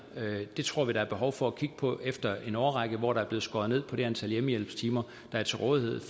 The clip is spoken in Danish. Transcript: det tror vi der er behov for at kigge på efter en årrække hvor der er blevet skåret ned på det antal hjemmehjælpstimer der er til rådighed